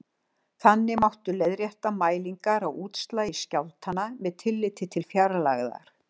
Þannig mátti leiðrétta mælingar á útslagi skjálftanna með tilliti til fjarlægðar.